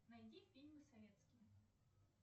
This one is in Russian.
найди фильмы советские